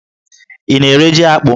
Ị na-ere jí akpụ?